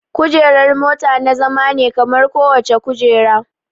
Kujerar mota na zama ne kamar kowace kujera